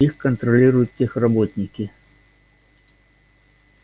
их контролируют техработники